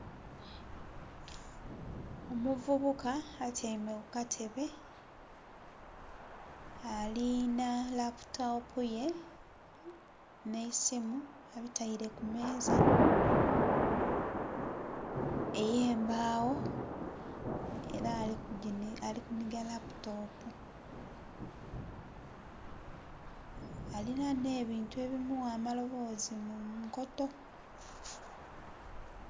Omuvubuka atyaime kukatebe alinha laputopu ye n'eisimu abitaire kumeeza eyembagho era ali kunhiga laputopu alinha n'ebuntu ebimugha amalobozi munkoto.